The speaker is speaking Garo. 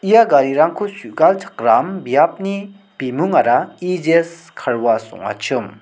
ia garirangko su·galchakram biapni bimungara E jes kar was ong·achim.